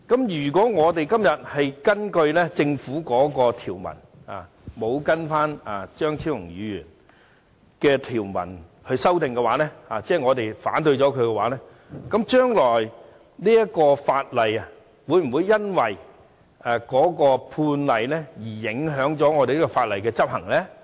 如果我們今天根據政府的條文而非按張超雄議員提出的條文進行修正，即我們反對他的修正案，那麼，日後會否因有關判例而影響這項法例的執行呢？